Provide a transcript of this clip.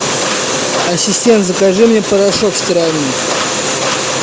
ассистент закажи мне порошок стиральный